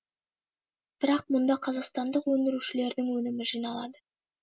бірақ мұнда қазақстандық өндірушілердің өнімі жиналады